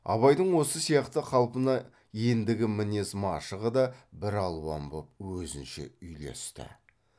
абайдың осы сияқты қалпына ендігі мінез машығы да бір алуан боп өзінше үйлесті